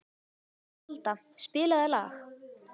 Folda, spilaðu lag.